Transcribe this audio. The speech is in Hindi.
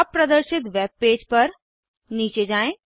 अब प्रदर्शित वेबपेज पर नीचे जाएँ